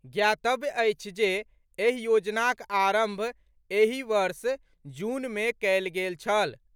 ज्ञातव्य अछि जे एहि योजनाक आरंभ एहि वर्ष जून मे कएल गेल छल।